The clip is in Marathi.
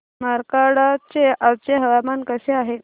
मार्कंडा चे आजचे हवामान कसे आहे